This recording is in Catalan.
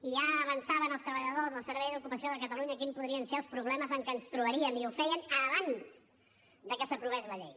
i ja avançaven els treballadors del servei d’ocupació de catalunya quins podrien ser els problemes amb què ens trobaríem i ho feien abans que s’aprovés la llei